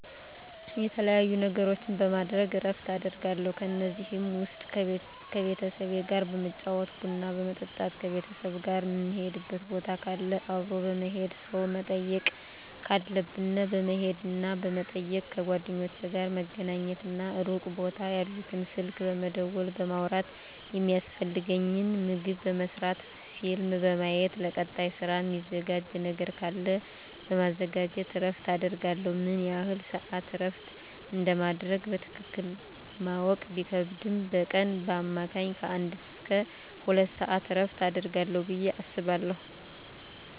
የተለያዩ ነገሮችን በማድረግ እረፍት አደርጋለሁ ከነዚህም ውስጥ ከቤተሰብ ጋር በመጫወት ቡና በመጠጣት ከቤተሰብ ጋር ምንሄድበት ቦታ ካለ አብሮ በመሄድ ሰው መጠየቅ ካለብን በመሄድና በመጠየቅ ከጓደኞቼ ጋር በመገናኘትና ሩቅ ቦታ ያሉትን ስልክ በመደወልና በማውራት የሚያስፈልገኝን ምግብ በመስራት ፊልም በማየት ለቀጣይ ስራ ሚዘጋጅ ነገር ካለ በማዘጋጀት እረፍት አደርጋለሁ። ምን ያህል ስዓት እረፍት እንደማደርግ በትክክል ማወቅ ቢከብድም በቀን በአማካኝ ከአንድ እስከ ሁለት ሰዓት እረፍት አደርጋለሁ ብየ አስባለሁ።